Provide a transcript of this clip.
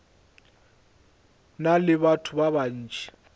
na le batho ba bantši